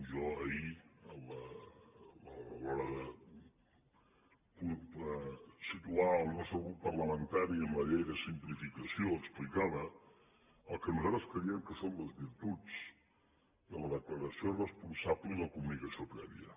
jo ahir a l’hora de situar el nostre grup parlamentari en la llei de simplificació explicava el que nosaltres creiem que són les virtuts de la declaració responsable i la comunicació prèvia